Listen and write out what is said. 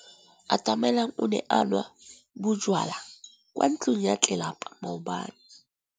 Atamelang o ne a nwa bojwala kwa ntlong ya tlelapa maobane.